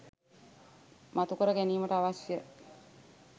මතුකර ගැනීමට අවශ්‍ය